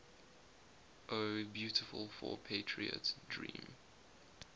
o beautiful for patriot dream